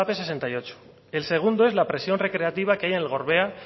sesenta y ocho el segundo es la presión recreativa que hay en el gorbea